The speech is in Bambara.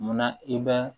Munna i bɛ